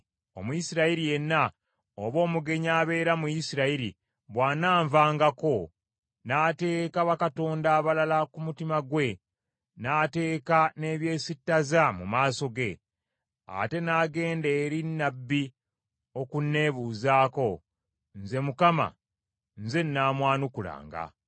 “ ‘Omuyisirayiri yenna oba omugenyi abeera mu Isirayiri bw’ananvangako, n’ateeka bakatonda abalala ku mutima gwe n’ateeka n’ebyesittaza mu maaso ge, ate n’agenda eri nnabbi okunneebuuzaako, nze Mukama nze nnaamwanukulanga.